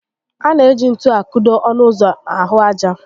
A na eji ntú a kụdo ọnụ ụzọ n'ahụ ájá